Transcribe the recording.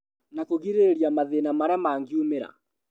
Na kũgĩrĩrĩria mathĩna marĩa mangiumĩra